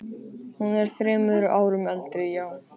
Hún er þremur árum eldri, já.